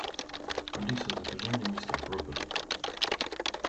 алиса закажи мне мистер пропер